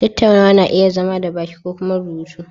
Tattaunawa na iya zama da baki ko kuma rubutu